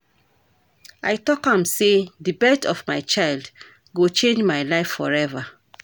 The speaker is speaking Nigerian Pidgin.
I tok am sey di birth of my child go change my life forever.